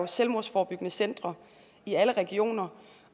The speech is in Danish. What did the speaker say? selvmordsforebyggende centre i alle regioner